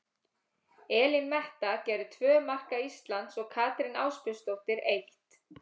Elín Metta gerði tvö marka Íslands og Katrín Ásbjörnsdóttir eitt.